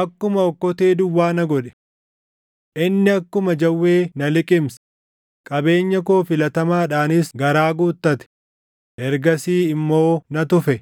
akkuma okkotee duwwaa na godhe. Inni akkuma jawwee na liqimse; qabeenya koo filatamaadhaanis garaa guuttate; ergasii immoo na tufe.”